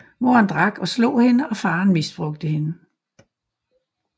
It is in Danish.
Moren drak og slog hende og faren misbrugte hende